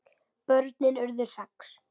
Börnin urðu sex.